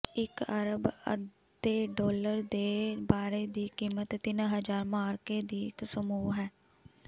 ਇਕ ਅਰਬ ਅੱਧੇ ਡਾਲਰ ਦੇ ਬਾਰੇ ਦੀ ਕੀਮਤ ਤਿੰਨ ਹਜ਼ਾਰ ਮਾਅਰਕੇ ਦੀ ਇੱਕ ਸਮੂਹ ਹੈ